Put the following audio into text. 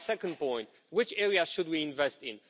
My second point which areas should we invest in?